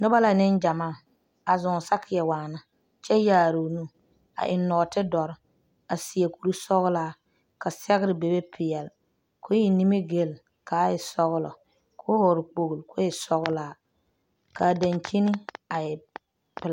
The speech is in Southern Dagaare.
Noba la nengyamaa a zʋŋ sakie wanna kyɛ yaare o nu a eŋe nɔɔte doɔre. a seɛ kur sɔglaa, ka sɛgere bebe pɛɛle kɔɔ eŋe nimigil kaa e sɔglɔ kɔɔ vɔgeli kpolo kɔɔ e sɔglaa, kaa dankyini a e pɛlaa.